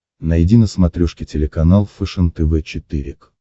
найди на смотрешке телеканал фэшен тв четыре к